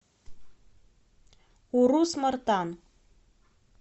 урус мартан